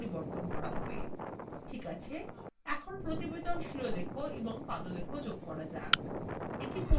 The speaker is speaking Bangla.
ঠিক আছে এখন প্রতিবেদন শিরলেখ এবং পাদলেখ যোগ করা যাক